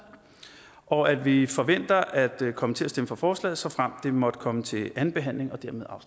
og at vi forventer at komme til at stemme for forslaget såfremt det måtte komme til anden behandling og